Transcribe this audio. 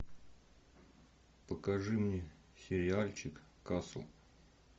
покажи мне сериальчик касл